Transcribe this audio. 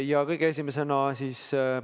Ja kõige esimesena siis ...